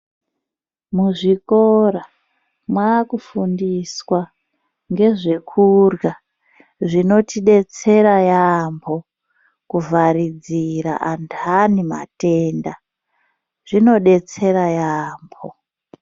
Muzvikora mwakufundiswa ngezvekurya zvinotidetsera yaambo kuvharidzira antu anematenda. Zvinodetsera yaambo.